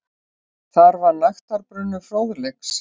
Þar var nægtabrunnur fróðleiks.